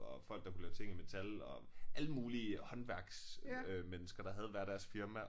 Og folk der kunne lave ting i metal og alle mulige håndværksmennesker der havde hvert deres firma